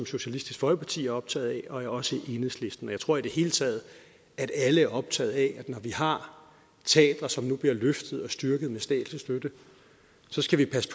socialistisk folkeparti er optaget af og også enhedslisten jeg tror i det hele taget at alle er optaget af at når vi har teatre som nu bliver løftet og styrket med statslig støtte så skal vi passe